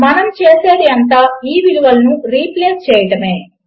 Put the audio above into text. మనము చేసేది అంతా ఈ విలువలను రీప్లేస్ చేయడమే